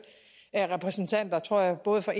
repræsentanter tror jeg både fra